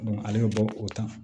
ale bɛ bɔ o ta